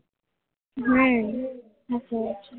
સાચી વાત છે